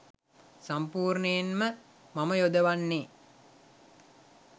සම්පූර්ණයෙන් ම මම යොදවන්නේ